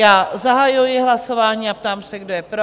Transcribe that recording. Já zahajuji hlasování a ptám se, kdo je pro?